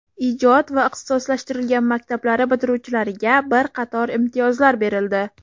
ijod va ixtisoslashtirilgan maktablari bitiruvchilariga bir qator imtiyozlar berildi.